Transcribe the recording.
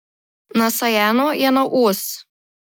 Nasajeno je na os.